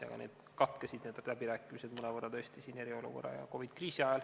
Aga need läbirääkimised mõnevõrra tõesti katkesid eriolukorra ja COVID-i kriisi ajal.